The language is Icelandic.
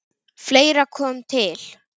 Fleira kom til.